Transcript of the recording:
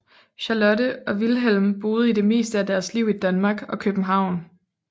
Charlotte og Wilhelm boede det meste af deres liv i Danmark og København